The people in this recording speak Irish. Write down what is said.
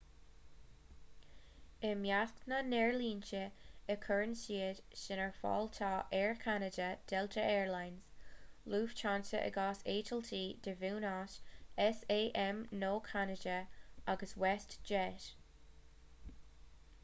i measc na n-aerlínte a gcuireann siad sin ar fáil tá air canada delta air lines lufthansa i gcás eitiltí de bhunús sam nó ceanada agus westjet